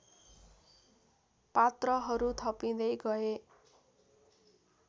पात्रहरू थपिँदै गए